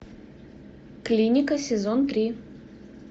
клиника сезон три